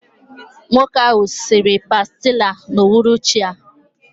Nwoke ahụ siri pàstilla n'uhuruchi a